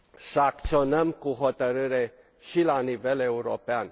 să acționăm cu hotărâre și la nivel european.